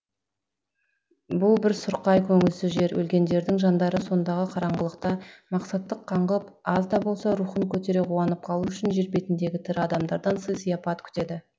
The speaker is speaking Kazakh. бұл бір сұрқай көңілсіз жер өлгендердің жандары сондағы қараңғылықта мақсатсық қаңғып аз да болса рухын көтере қуанып қалу үшін жер бетіндегі тірі адамдардан сый сыяпат күтеді